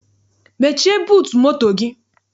Mechie buutu moto gị!